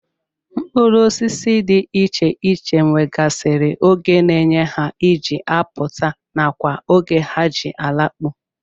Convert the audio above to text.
Mkpụrụosisi dị iche iche nwegasịrị oge na eye ha ji apụta nakwa oge ha ji alakpu